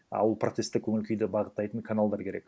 а ол протесттік көңіл күйді бағыттайтын каналдар керек